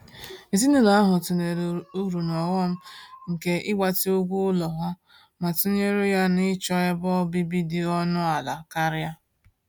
Ezinụlọ ahụ tụlere uru na ọghọm nke ịgbatị ụgwọ ụlọ ha ma tụnyere ya na ịchọ ebe obibi dị ọnụ ala karị.